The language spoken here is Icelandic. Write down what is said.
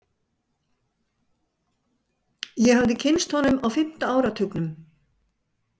Ég hafði kynnst honum á fimmta áratugnum.